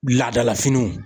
Laadala finiw.